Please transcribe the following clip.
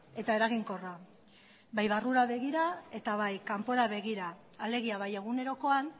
eta eraginkorra bai barrura begira eta bai kanpora begira alegia bai egunerokoan